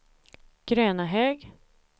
Grönahög